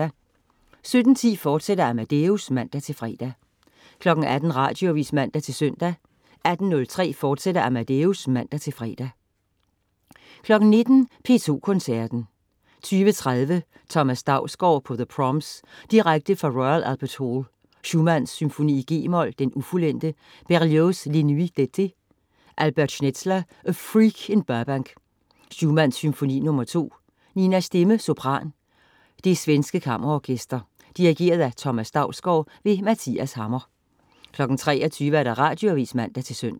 17.10 Amadeus, fortsat (man-fre) 18.00 Radioavis (man-søn) 18.03 Amadeus, fortsat (man-fre) 19.00 P2 Koncerten. 20.30 Thomas Dausgaard på The Proms. Direkte fra Royal Albert Hall. Schumann: Symfoni, g-mol, ufuldendt. Berlioz: Les Nuits d'été. Albert Schnelzer: A Freak in Burbank. Schumann: Symfoni, nr. 2. Nina Stemme, sopran. Det svenske Kammerorkester. Dirigent: Thomas Dausgaard. Mathias Hammer 23.00 Radioavis (man-søn)